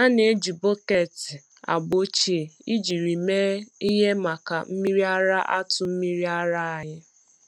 A na-eji bọket agba ochie ejiri mee ihe maka mmiri ara atụ mmiri ara anyị.